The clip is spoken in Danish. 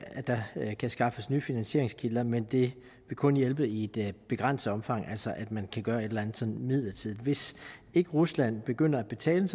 at der kan skaffes nye finansieringskilder men det vil kun hjælpe i et begrænset omfang altså at man kan gøre et eller andet sådan midlertidigt hvis ikke rusland begynder at betale